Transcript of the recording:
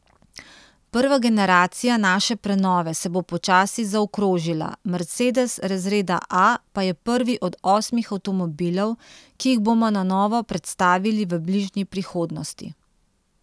Prva generacija naše prenove se bo počasi zaokrožila, Mercedes razreda A pa je prvi od osmih avtomobilov, ki jih bomo na novo predstavili v bližnji prihodnosti.